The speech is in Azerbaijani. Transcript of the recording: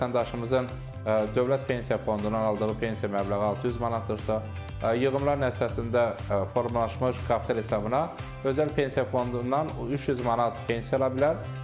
Vətəndaşımızın dövlət pensiya fondundan aldığı pensiya məbləği 600 manatdırsa, yığımlar nəticəsində formalaşmış kapital hesabına özəl pensiya fondundan 300 manat pensiya ala bilər.